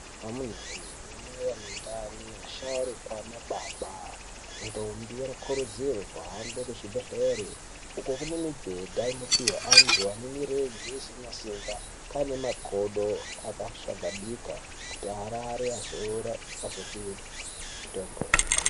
Amunawee anamai ane ndani ,asharukwa ana baba ,ntombi anokurudzirwa kuhambe kuzvibhedhlera uko kune migweta inopihwa vantu vanemirenje isina simba ngeane makodo akashagadika kuti varare vazorore vazopihwe mitombo .